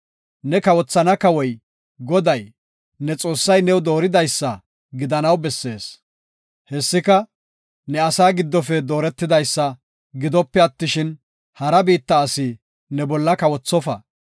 ne kawothana kawoy Goday, ne Xoossay new dooridaysa gidanaw bessees. Hessika, ne asaa giddofe dooretidaysa gidope attishin, hara biitta asi ne bolla kawothofa.